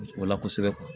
O la kosɛbɛ